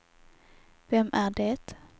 vem är det